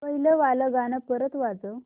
पहिलं वालं गाणं परत वाजव